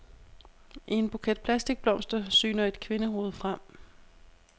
I en buket plastikblomster syner et kvindehoved frem.